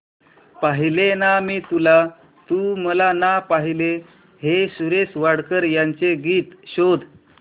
पाहिले ना मी तुला तू मला ना पाहिले हे सुरेश वाडकर यांचे गीत शोध